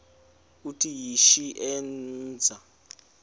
uthi yishi endiza